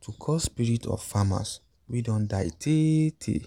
to call spirit of farmers wey don die tey-tey.